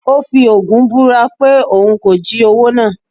ó fi ogún búra pé òun kò jí owó náà